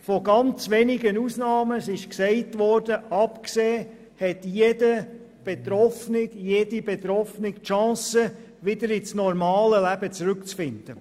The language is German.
Von ganz wenigen Ausnahmen abgesehen hat jede und jeder Betroffene die Möglichkeit, wieder in das normale Leben zurück zu finden.